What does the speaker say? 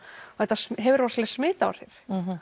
þetta hefur rosaleg smit áhrif